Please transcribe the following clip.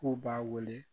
K'u b'a wele